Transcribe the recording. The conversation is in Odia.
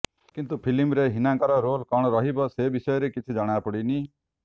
କିନ୍ତୁ ଫିଲ୍ମରେ ହୀନାଙ୍କର ରୋଲ୍ କଣ ରହିବ ସେ ବିଷୟରେ କିଛି ଜଣା ପଡ଼ିନି